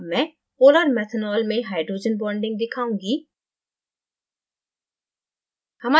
अब मैं polar methanolमें hydrogen bonding दिखाउंगी